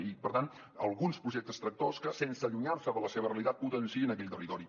i per tant alguns projectes tractor que sense allunyar se de la seva realitat potenciïn aquell territori